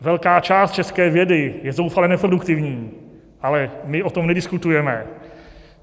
Velká část české vědy je zoufale neproduktivní, ale my o tom nediskutujeme.